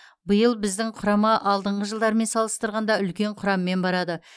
биыл біздің құрама алдыңғы жылдармен салыстырғанда үлкен құраммен барады